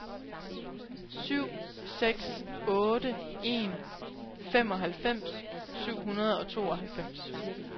syv seks otte en femoghalvfems syv hundrede og tooghalvfems